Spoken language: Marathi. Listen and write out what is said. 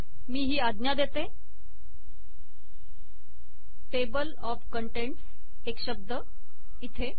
मी ही आज्ञा देते टेबल ऑफ कंटेंट्स् एक शब्द इथे